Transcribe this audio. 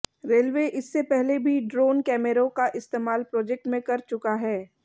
railway इससे पहले भी ड्रोन कैमरों का इस्तेमाल प्रोजेक्ट में कर चुका है